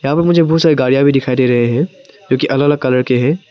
यहां पर मुझे बहुत सारी गाड़ियां भी दिखाई दे रहे है जोकि अलग अलग कलर के है।